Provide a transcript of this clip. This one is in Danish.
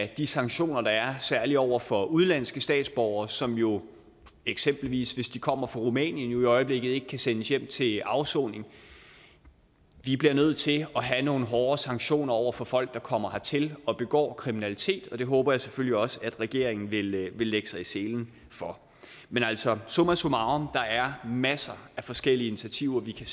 de sanktioner der er særlig over for udenlandske statsborgere som jo eksempelvis hvis de kommer fra rumænien i øjeblikket ikke kan sendes hjem til afsoning vi bliver nødt til at have nogle hårdere sanktioner over for folk der kommer hertil og begår kriminalitet og det håber jeg selvfølgelig også at regeringen vil lægge vil lægge sig i selen for men altså summa summarum der er masser af forskellige initiativer vi kan